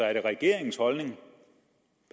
er det regeringens holdning